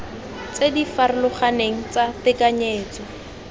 tse di farologaneng tsa tekanyetso